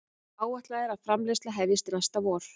Áætlað er framleiðsla hefjist næsta vor